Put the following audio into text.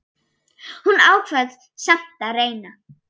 Hún ákvað samt að reyna.